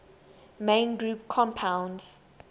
main group compounds